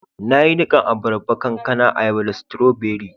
Na yi nikan abarba, kankana, ayaba da strawberry.